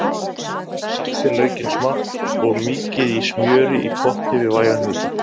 Saxið laukinn smátt og mýkið í smjöri í potti við vægan hita.